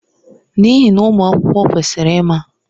N'ihi na ụmụ akwụkwọ kwesịrị ịma.